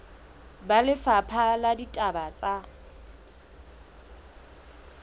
ba lefapha la ditaba tsa